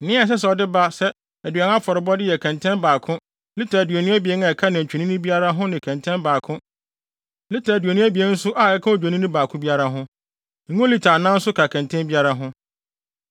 Nea ɛsɛ sɛ ɔde ba sɛ aduan afɔrebɔde yɛ kɛntɛn baako (lita aduonu abien) a ɛka nantwinini biara ho ne kɛntɛn baako (lita aduonu abien) nso a ɛka Odwennini baako biara ho. Ngo lita anan nso ka kɛntɛn biara ho.